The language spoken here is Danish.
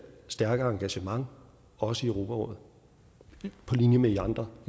stærke engagement også i europarådet på linje med de andre